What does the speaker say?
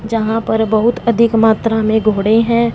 यहां पर बहुत अधिक मात्रा में घोड़े हैं।